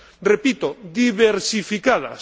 Repito diversificadas.